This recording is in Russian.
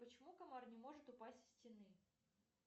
почему комар не может упасть со стены